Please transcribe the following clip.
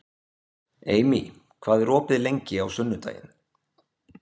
Amy, hvað er opið lengi á sunnudaginn?